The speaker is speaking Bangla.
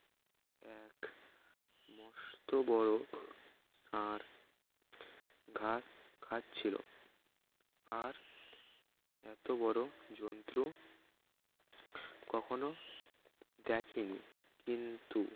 মস্ত বড় ষাড় ঘাস খাচ্ছিল আর এত বড় জন্তু কখনো দেখিনি কিন্তু